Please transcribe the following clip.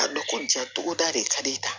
A dɔn ko ja togoda de ka di